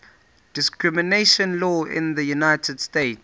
discrimination law in the united states